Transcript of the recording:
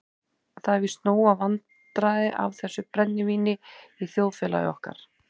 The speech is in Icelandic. Það eru víst nóg vandræðin af þessu brennivíni í þjóðfélagi okkar.